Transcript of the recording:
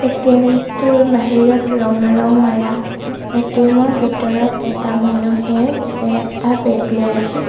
ATM টোৰ বাহিৰত ৰঙা ৰং মাৰা উম এ_টি_এম ৰ ভিতৰত এটা মানুহেও এটা বেগ লৈ আছে।